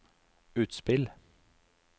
utspill